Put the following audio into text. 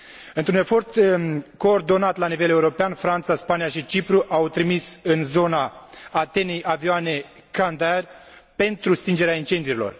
Într un efort coordonat la nivel european, Franța, Spania și Cipru au trimis în zona Atenei avioane Canadair pentru stingerea incendiilor.